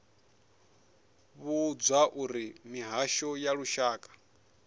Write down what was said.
vhudzwa uri mihasho ya lushaka